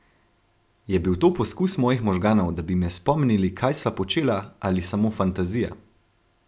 Je bil to poskus mojih možganov, da bi me spomnili, kaj sva počela, ali samo fantazija?